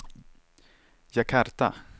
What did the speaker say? Jakarta